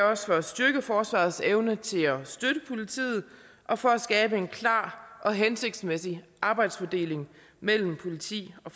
også for at styrke forsvarets evne til at støtte politiet og for at skabe en klar og hensigtsmæssig arbejdsfordeling mellem politi og